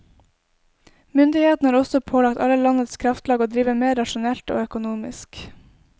Myndighetene har også pålagt alle landets kraftlag å drive mer rasjonalt og økonomisk.